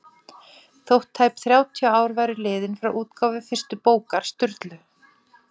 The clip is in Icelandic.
Þótt tæp þrjátíu ár væru liðin frá útgáfu fyrstu bókar Sturlu